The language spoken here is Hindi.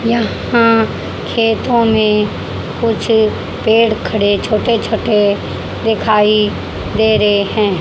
यहां खेतों में कुछ पेड़ खड़े छोटे छोटे दिखाई दे रहे हैं।